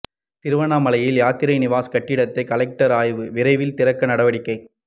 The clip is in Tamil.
திருவண்ணாமலையில் யாத்ரி நிவாஸ் கட்டிடத்தை கலெக்டர் ஆய்வு விரைவில் திறக்க நடவடிக்கை